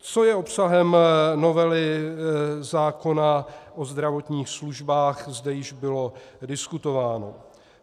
Co je obsahem novely zákona o zdravotních službách, zde již bylo diskutováno.